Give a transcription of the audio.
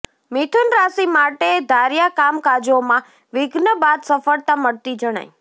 મિથુન રાશિ માટે ધાર્યાં કામકાજોમાં વિઘ્ન બાદ સફળતા મળતી જણાય